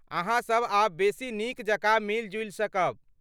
अहाँ सब आब बेसी नीक जकाँ मिलि जुलि सकब।